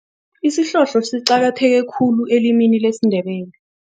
Isihlohlo siqakatheke khulu elimini lesiNdebele.